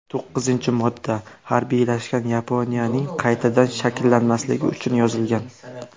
To‘qqizinchi modda harbiylashgan Yaponiyaning qaytadan shakllanmasligi uchun yozilgan.